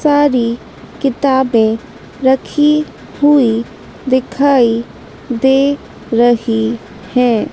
सारी किताबें रखी हुई दिखाई दे रही हैं।